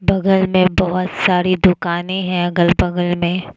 बगल मे बहोत सारी दुकाने हैं अगल बगल में --